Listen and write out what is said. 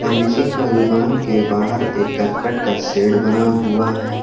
Servicing का दुकान के बहार एक करकट का शेड बना हुआ है।